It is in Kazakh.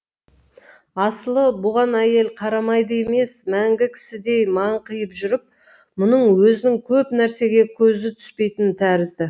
асылы бұған әйел қарамайды емес мәңгі кісідей маңқиып жүріп мұның өзінің көп нәрсеге көзі түспейтін тәрізді